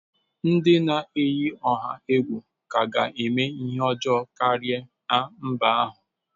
Ndị na-eyi ọha egwu ka ga-eme ihe ọjọọ karịa na mba ahụ.